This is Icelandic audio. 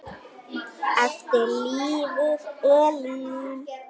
Eftir lifir Elín.